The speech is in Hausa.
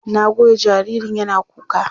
Na goya jaririn yana kuka.